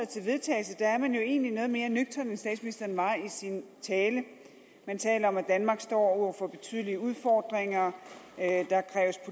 til vedtagelse er man jo egentlig noget mere nøgtern end statsministeren var i sin tale man taler om at danmark står over for betydelige udfordringer der